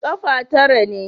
Ƙafa tara ne.